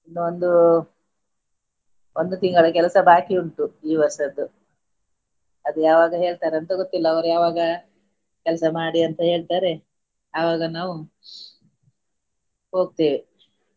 ಇನ್ನು ಒಂದು ಒಂದು ತಿಂಗಳ ಕೆಲಸ ಬಾಕಿ ಉಂಟು ಈ ವರ್ಷದ್ದು ಅದು ಯಾವಾಗ ಹೇಳ್ತಾರಂತ ಗೊತ್ತಿಲ್ಲ ಅವ್ರು ಯಾವಾಗ ಕೆಲಸ ಮಾಡಿ ಅಂತ ಹೇಳ್ತಾರೆ ಆವಾಗ ನಾವು ಹೋಗ್ತಿವಿ.